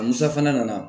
Ni safinɛ nana